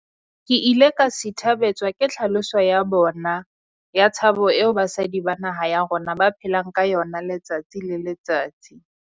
Ke ile ka sithabetswa ke tlhaloso ya bona ya tshabo eo basadi ba naha ya rona ba phelang ka yona letsatsi le letsatsi.